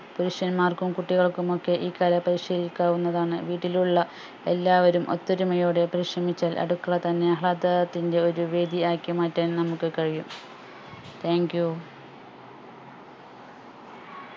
പുരുഷന്മാർക്കും കുട്ടികൾക്കുമൊക്കെ ഈ കല പരിശീലിക്കാവുന്നതാണ് വീട്ടിലുള്ള എല്ലാവരും ഒത്തൊരുമയോടെ പരിശ്രമിച്ചാൽ അടുക്കള തന്നെ ആഹ്ളാദത്തിന്റെ ഒരു വേദിയാക്കി മാറ്റാൻ നമുക്ക് കഴിയും thank you